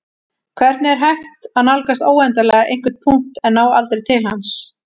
hvernig er hægt að nálgast óendanlega einhvern punkt en ná aldrei til hans